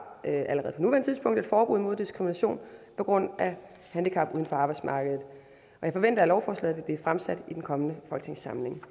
et forbud mod diskrimination på grund af handicap uden for arbejdsmarkedet og jeg forventer at lovforslaget vil blive fremsat i den kommende folketingssamling